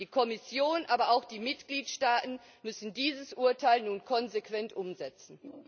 Die Kommission, aber auch die Mitgliedstaaten, müssen dieses Urteil nun konsequent umsetzen.